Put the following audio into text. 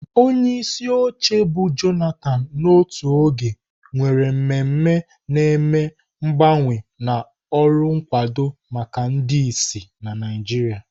Onyeisi oche mbu Jonathan n'otu oge, nwere mmemme na-eme mgbanwe na ọrụ nkwado maka ndị ìsì na Naijiria.